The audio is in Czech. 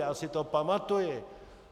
Já si to pamatuji.